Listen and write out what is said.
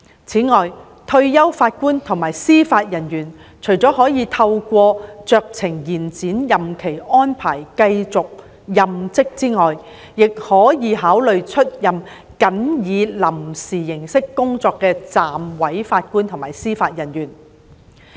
此外，退休法官及司法人員除可透過酌情延展任期安排繼續任職外，亦可考慮出任僅以臨時形式工作的暫委法官及司法人員。